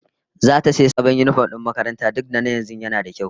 Zata din sabon yinifom na makaranta duk da na yanzu nada kyau